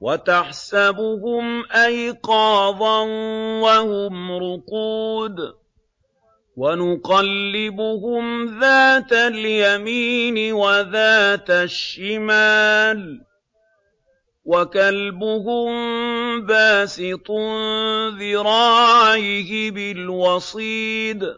وَتَحْسَبُهُمْ أَيْقَاظًا وَهُمْ رُقُودٌ ۚ وَنُقَلِّبُهُمْ ذَاتَ الْيَمِينِ وَذَاتَ الشِّمَالِ ۖ وَكَلْبُهُم بَاسِطٌ ذِرَاعَيْهِ بِالْوَصِيدِ ۚ